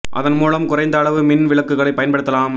அதன் மூலம் குறைந்த அளவு மின் விளக்குகளை பயன்படுத்தலாம்